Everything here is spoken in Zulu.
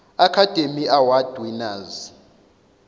academy award winners